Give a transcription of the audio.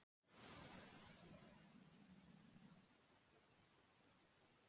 Hjá framkvæmdastjórninni eru öll skjöl opinber nema annað hafi verið ákveðið.